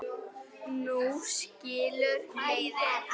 Nú skilur leiðir.